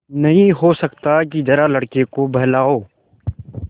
नहीं हो सकता कि जरा लड़के को बहलाओ